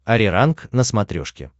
ариранг на смотрешке